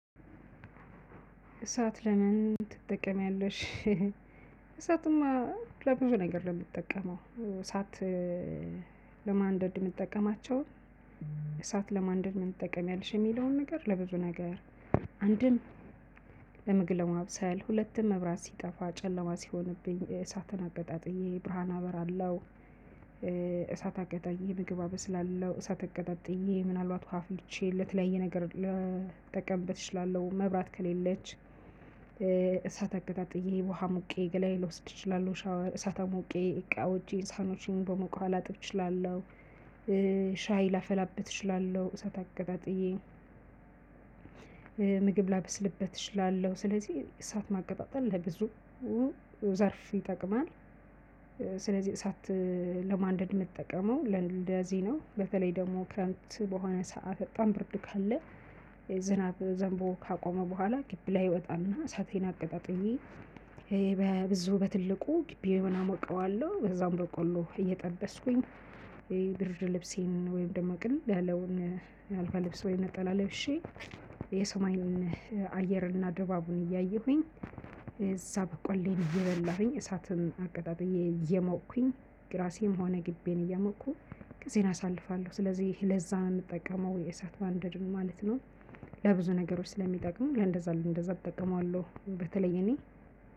እሳት ለምን ትጠቀሚያለሽ? ሄሄ እሳትማ ለብዙ ነገር ነው እምትጠቀመው። እሳት ለማንደድ የምትጠቀማቸው እሳት ለማንደድ ምንትጠቀሚያለሽ የሚለውን ነገር ለብዙ ነገር። አንድም ለመግብ ለማብሰል ሁለትም መብራት ሲጠፋ ጨለማ ሲሆንብኝ እሳትን አቀጣጥዬ ብርሃን አበራለሁ። እሳት አቀጣጥዬ ምግብ አበስላለው እሳት አቀጣጥዬ ምናልባት ውሃ አፍልቼ ለተለያየ ነገር ለ ልጠቀምበት እችላለው። መብራት ከሌለች እሳት አቀጣጥዬ ውሃ አሙቄ ገላየ ልወስድ እችላለው። ሻወር እሳት አሙቄ እቃዎቼን ሳህኖቼን በሞቀ ውሃ ላጥብ እችላለሁ። ሻይ ላፈላበት እችላለሁ እሳት አቀጣጥዬ ምግብ ላበስልበት እችላለሁ። ስለዚህ እሳት ማቀጣጠል ለብዙ ዘርፍ ይጠቅማል። ኧ ስለዚህ እሳት ለማንደድ እምጠቀመው ለእንደዚህ ነው። በተለይ ደሞ ክረምት በሆነ ሰዓት በጣም ብርድ ካለ ዝናብ ዘንቦ ካቆመ በኋላ ግብ ላይ እወጣና ሳቴን አቀጣጥዬ ኧ በብዙ በትልቁ ግቢውን አሞቀዋለሁ። ከዛም በቆሎ እየጠበስኩኝ እይ ብርድ ልብሴን ወይም ደሞ ቅልል ያለውን አልጋ ልብስ ወይም ነጠላ ለብሼ የሰማይን አየርንና ድባቡን እያየሁኝ እዛ በቆሌን እየበላሁኝ እሳትን አቀጣጥዬ እየሞኩኝ ራሴም ሆነ ግቢየን እያሞኩኝ ጊዜን አሳልፋለሁ። ስለዚህ ለዛ እምጠቀመው እሳት ባንደድን ማለት ነው። ለብዙ ነገሮች ስለሚጠቅሙ ለእንደዛ እንደዛ እጠቀማለሁ በተለይ እኔ።